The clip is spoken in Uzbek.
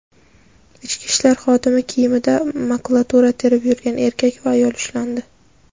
Ichki ishlar xodimi kiyimida makulatura terib yurgan erkak va ayol ushlandi.